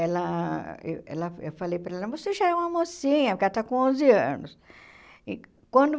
Ela eu ela eu falei para ela, você já é uma mocinha, porque ela está com onze anos. E quando